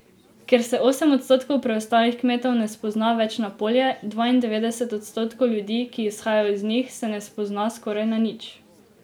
Ker se osem odstotkov preostalih kmetov ne spozna več na polje, dvaindevetdeset odstotkov ljudi, ki izhajajo iz njih, se ne spozna skoraj na nič.